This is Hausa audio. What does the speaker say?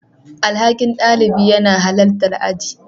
Alhakin ɗalibi yana halartar aji.